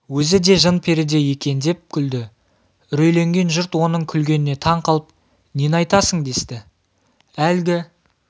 өзі де жын-перідей екен деп күлді үрейленген жұрт оның күлгеніне таң қалып нені айтасың десті әлгі